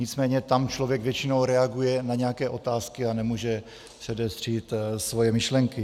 Nicméně tam člověk většinou reaguje na nějaké otázky a nemůže předestřít svoje myšlenky.